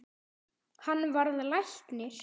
Hann varð læknir.